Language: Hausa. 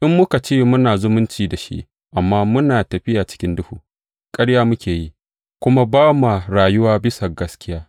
In muka ce muna zumunci da shi amma muna tafiya cikin duhu, ƙarya muke yi, kuma ba ma rayuwa bisa ga gaskiya.